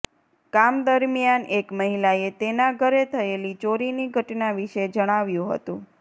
કામ દરમિયાન એક મહિલાએ તેના ઘરે થયેલી ચોરીની ઘટના વિશે જણાવ્યું હતું